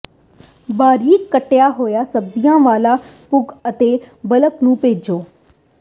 ਬਾਰੀਕ ਕੱਟਿਆ ਹੋਇਆ ਸਬਜ਼ੀਆਂ ਵਾਲਾ ਭੁੰਬ ਅਤੇ ਬਲਬ ਨੂੰ ਭੇਜੋ